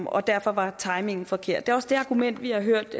og derfor var timingen forkert det er også det argument vi har hørt